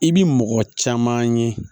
I bi mɔgɔ caman ye